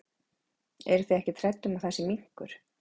Eru þið ekkert hrædd um að það sé minkur?